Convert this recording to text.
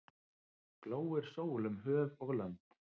Glóir sól um höf og lönd.